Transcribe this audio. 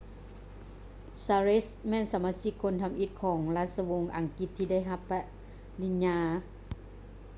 charles ແມ່ນສະມາຊິກຄົນທຳອິດຂອງລາຊະວົງອັງກິດທີ່ໄດ້ຮັບປະລິນຍາ